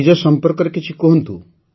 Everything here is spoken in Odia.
ନିଜ ସମ୍ପର୍କରେ କିଛି କହନ୍ତୁ